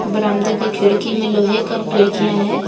बरामदे के खिड़की में लोहे का खिड़कियां है।